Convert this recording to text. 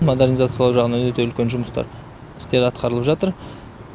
модернизациялау жағынан өте үлкен жұмыстар істер атқарылып жатыр